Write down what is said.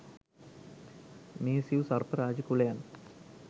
මේ සිව් සර්ප රාජ කුලයන්